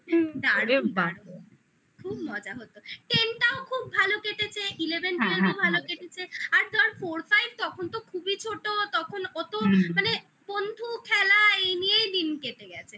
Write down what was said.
খুব মজা হতো ten টাও খুব ভালো কেটেছে eleven twelve ও ভালো কেটেছে আর যখন four five তখন খুবই ছোট তখন তো মানে বন্ধু খেলা এই নিয়েই দিন কেটে গেছে